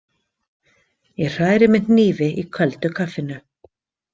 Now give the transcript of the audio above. Ég hræri með hnífi í köldu kaffinu.